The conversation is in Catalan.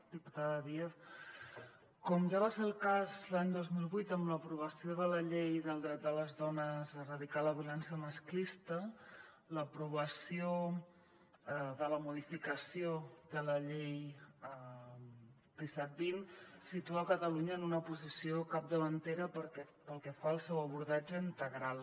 diputada díaz com ja va ser el cas l’any dos mil vuit amb l’aprovació de la llei del dret de les dones a erradicar la violència masclista l’aprovació de la modificació de la llei disset vint situa catalunya en una posició capdavantera pel que fa al seu abordatge integral